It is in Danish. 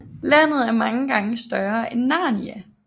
Landet er mange gange større end Narnia